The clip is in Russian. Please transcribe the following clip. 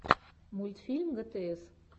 мультфильм гтс